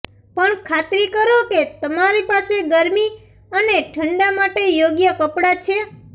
પણ ખાતરી કરો કે તમારી પાસે ગરમી અને ઠંડા માટે યોગ્ય કપડાં છે